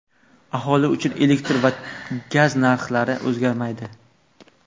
Aholi uchun elektr va gaz narxlari o‘zgarmaydi.